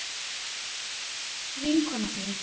Er það vinkona þín?